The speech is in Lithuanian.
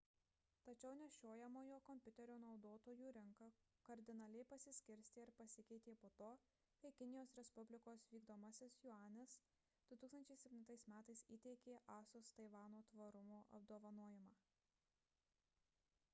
tačiau nešiojamojo kompiuterio naudotojų rinka kardinaliai pasiskirstė ir pasikeitė po to kai kinijos respublikos vykdomasis juanis 2007 m įteikė asus taivano tvarumo apdovanojimą